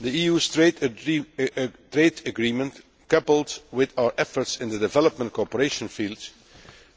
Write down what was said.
The EU trade agreement coupled with our efforts in the development cooperation field